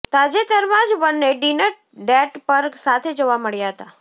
તાજેતરમાં જ બંને ડિનર ડેટ પર સાથે જોવા મળ્યા હતા